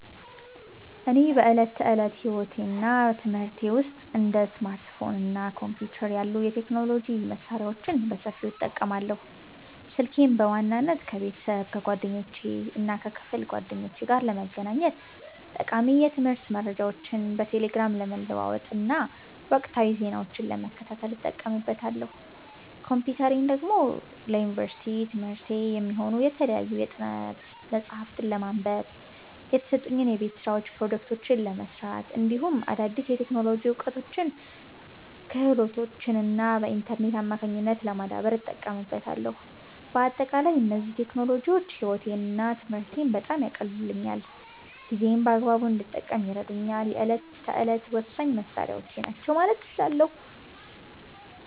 እኔ በዕለት ተዕለት ሕይወቴና በትምህርቴ ውስጥ እንደ ስማርትፎን እና ኮምፒውተር ያሉ የቴክኖሎጂ መሣሪያዎችን በሰፊው እጠቀማለሁ። ስልኬን በዋናነት ከቤተሰብ፣ ከጓደኞቼና ከክፍል ጓደኞቼ ጋር ለመገናኘት፣ ጠቃሚ የትምህርት መረጃዎችን በቴሌግራም ለመለዋወጥና ወቅታዊ ዜናዎችን ለመከታተል እጠቀምበታለሁ። ኮምፒውተሬን ደግሞ ለዩኒቨርሲቲ ትምህርቴ የሚሆኑ የተለያዩ የጥናት መጽሐፍትን ለማንበብ፣ የተሰጡኝን የቤት ሥራዎችና ፕሮጀክቶች ለመሥራት፣ እንዲሁም አዳዲስ የቴክኖሎጂ እውቀቶችንና ክህሎቶችን በኢንተርኔት አማካኝነት ለማዳበር እጠቀምበታለሁ። በአጠቃላይ እነዚህ ቴክኖሎጂዎች ሕይወቴንና ትምህርቴን በጣም ያቀለሉልኝና ጊዜዬን በአግባቡ እንድጠቀም የሚረዱኝ የዕለት ተዕለት ወሳኝ መሣሪያዎቼ ናቸው ማለት እችላለሁ።